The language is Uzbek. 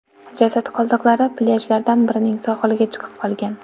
Jasad qoldiqlari plyajlardan birining sohiliga chiqib qolgan.